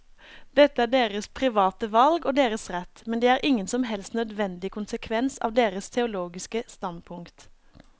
Dette er deres private valg og deres rett, men det er ingen som helst nødvendig konsekvens av deres teologiske standpunkt.